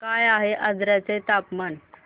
काय आहे आजर्याचे तापमान